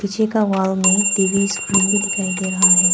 पीछे का वॉल मे टी_वी स्क्रीन भी दिखाई दे रहा है।